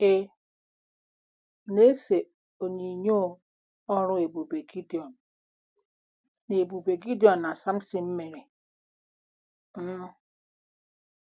Ị̀ na-ese onyinyo ọrụ ebube Gidiọn na ebube Gidiọn na Samsịn mere? um